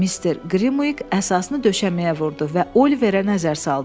Mister Qrimviq əsasını döşəməyə vurdu və Oliverə nəzər saldı.